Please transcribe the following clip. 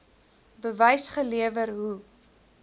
bewys gelewer hoe